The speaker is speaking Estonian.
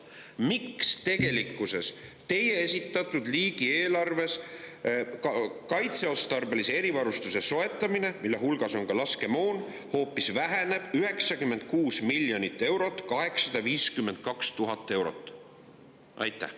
Miks teie esitatud riigieelarves kaitseotstarbelise erivarustuse soetamisele, mille hulgas on ka laskemoon, hoopis väheneb 96,852 miljonit eurot?